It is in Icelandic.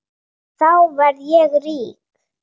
Þá verð ég rík.